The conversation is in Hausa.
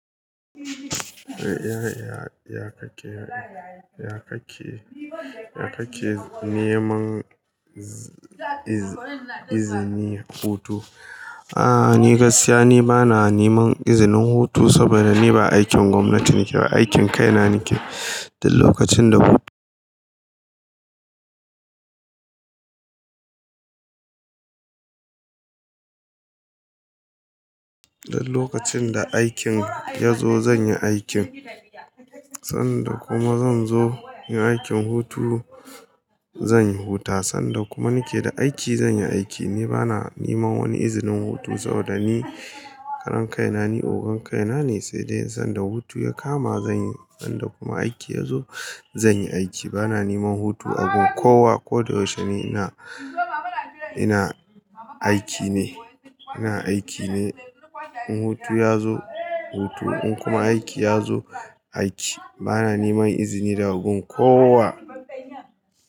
Ya, ya, ya kake, ya kake, ya kake neman z iz izini hutu A'a ni gaskiya ni bana neman izinin hutu saboda ni ba aikin gwamnati nake ba, aikin kaina nake. Dan lokacin da-- dan lokacin da aikin ya zo zan yi aikin, sanda kuma zan zo yin aikin hutu zan yi huta Sanda kuma nake da aiki zan yi aiki. Ni bana neman wani izinin hutu saboda ni karan kaina, ni ogon kaina ne, sai dai sanda hutu ya kama zan yi. Sanda kuma aiki ya zo zan yi aiki. Bana neman hutu abin kowa. Ko da yaushe ni ina, ina aiki ne, ina aiki ne. In hutu ya zo hutu, in kuma aiki ya zo aiki. Bana neman izini da gun kowa.